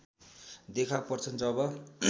देखा पर्छन् जब